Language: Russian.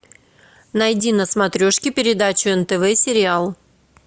найди на смотрешке передачу нтв сериал